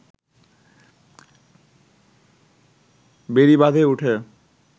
বেড়িবাঁধে উঠে